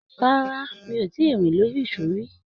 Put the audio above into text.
Rárá, mi ò tí ì rin lórí ìsó rí.